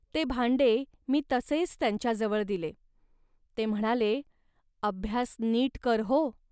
ते भांडे मी तसेच त्यांच्याजवळ दिले. ते म्हणाले, "अभ्यास नीट कर, हो